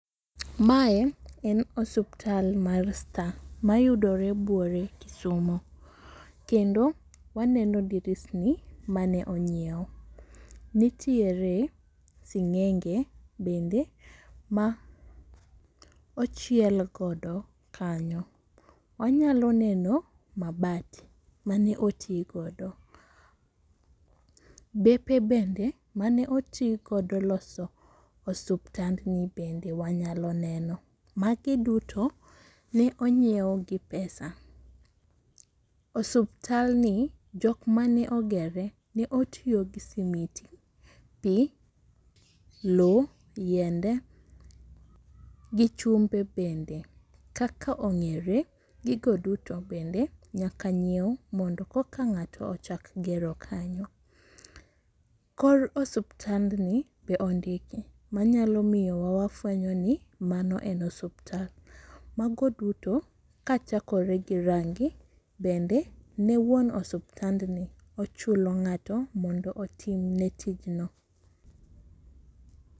Mae en osuptal mar Star mayudore buore Kisumu, kendo waneno drisni mane onyiew, nitiere sing'enge bende ma ochiel godo kanyo, wanyalo neno mabat mane oti godo. Bepe bende mane oti godo loso osuptandni bende wanyalo neno. Magi duto ne onyiew gi pesa. Osuptalni jok mane ogere ne otiyo gi simiti gi lowo, yiende, gi chumbe bende kaka ong'eyore gigo duto bende nyaka nyiew mondo koka ng'ato ochak gero kanyo. Kor osuptandni be ondiki manyalo miyowa wafwenyo ni mano en osupta, mago duto kachakore gi rangi bende ne wuon osuptandni ochulo ng'ato mondo otimne tijno.